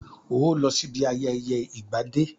Óò lọ sí ibi ayẹyẹ ìgbà dé!